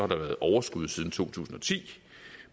der været overskud siden to tusind og ti